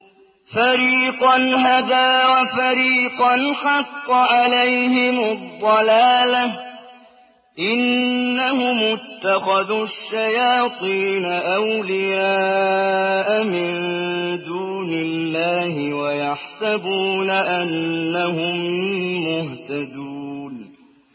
فَرِيقًا هَدَىٰ وَفَرِيقًا حَقَّ عَلَيْهِمُ الضَّلَالَةُ ۗ إِنَّهُمُ اتَّخَذُوا الشَّيَاطِينَ أَوْلِيَاءَ مِن دُونِ اللَّهِ وَيَحْسَبُونَ أَنَّهُم مُّهْتَدُونَ